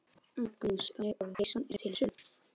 Magnús: Þannig að peysan er til sölu?